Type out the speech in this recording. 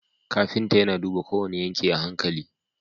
Kafinta yAna duba kowane yanki a hankali